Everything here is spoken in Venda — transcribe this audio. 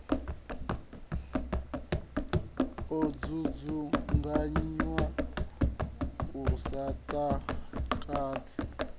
o dzudzunganyiwa lu sa takadzi